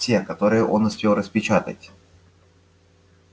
те которые он успел распечатать